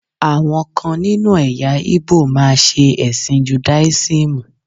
Àwọn kan nínú ẹ̀yà Ìgbò máa ṣe ẹ̀sìn judáísímù.